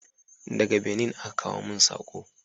Daga Benin aka kawo mun sako